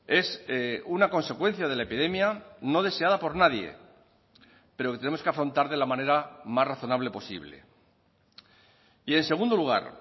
es una consecuencia de la epidemia no deseada por nadie pero que tenemos que afrontar de la manera más razonable posible y en segundo lugar